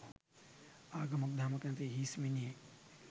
ආගමක් දහමක් නැති හිස් මිනිහෙක්.